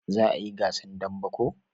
Za a yi gasan dambe ko?